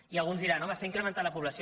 i alguns diran home s’ha incrementat la població